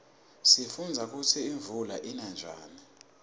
sifundza kutsi imuula ina njani